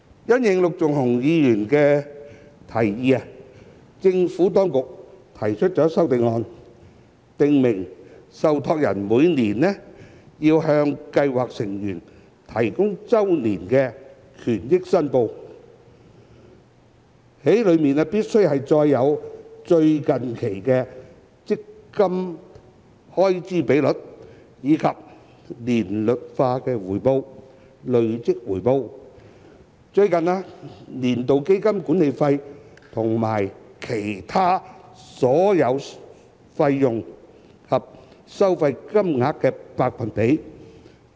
因應陸頌雄議員的提議，政府當局提出修正案，訂明受託人每年要向計劃成員提供的周年權益報表，須載有最近期基金開支比率，以及年率化回報、累計回報、最近年度基金管理費和其他所有費用及收費的金額和百分比。